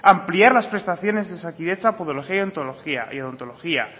ampliar las prestaciones de osakidetza podología y odontología